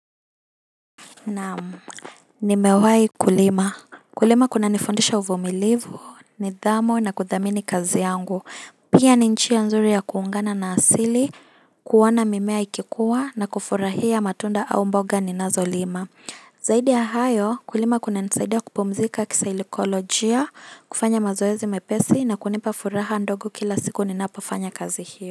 Naam, nimewahi kulima. Kulima kunanifundisha uvumilivu, nidhamu na kuthamini kazi yangu. Pia ni njia nzuri ya kuungana na asili, kuona mimea ikikua na kufurahia matunda au mboga ninazolima. Zaidi ya hayo, kulima kunanisaidia kupumzika kisaikolojia, kufanya mazoezi mepesi na kunipa furaha ndogo kila siku ninapofanya kazi hiyo.